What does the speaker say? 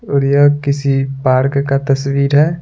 और यह किसी पार्क का तस्वीर है।